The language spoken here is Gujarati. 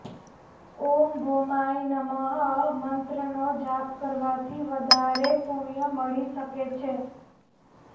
ઓમ ભૌમાય નમઃ મંત્રનો જાપ કરવાથી વધારે પુણ્ય મળી શકે છે